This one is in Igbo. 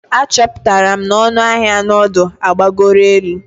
Achọpụtara m na ọnụ ahịa nudu agbagoro elu.